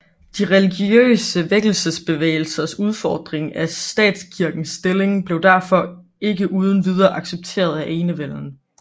De religiøse vækkelsesbevægelsers udfordring af statskirkens stilling blev derfor ikke uden videre accepteret af enevælden